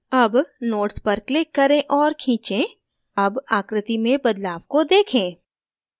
अब nodes पर click करें और खींचें अब आकृति में बदलाव को देखें